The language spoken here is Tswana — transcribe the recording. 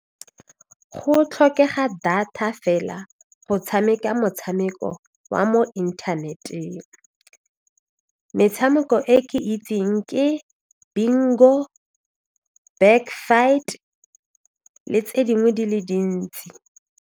Go tlhokega data fela go tshameka motshameko wa mo inthaneteng, metshameko e ke itseng ke bingo, back fight le tse dingwe di le dintsi.